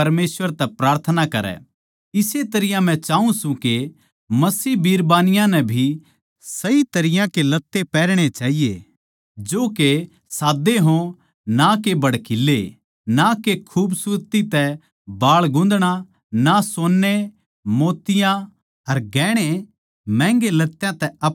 इस्से तरियां मै चाऊँ सूं के मसीह बिरबानियाँ नै भी सही तरियां के लत्ते पैहरणे चाहिए जो के साद्दे हो ना के भड़कीले ना खूबसूरती तै बाळ गूँथणा ना सोन्ने मोतियाँ अर घणे महंगे लत्यां तै अपणे आपनै सवारणा